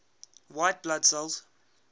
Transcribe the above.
white blood cells